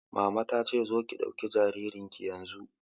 Mama ta ce 'Zo ki ɗauki jaririn ki yanzu'!